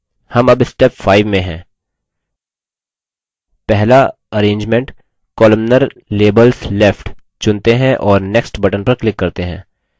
हम अब step 5 में हैं पहला arrangement columnar – labels left चुनते हैं और next button पर click करते हैं